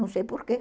Não sei por quê.